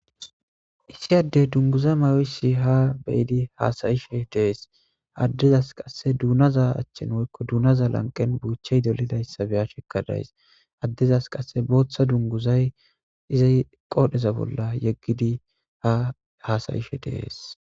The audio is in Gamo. Issi addey dunguza mayoisi ha beyidi haasayishe dees addezas qasse duunaza achchen woykko duunaza lanqen buuchey dolidayssa beya shekkadays addezas qasse booththa dunguzay izay qoodheza bolla yeggidi ha hasayishe dees.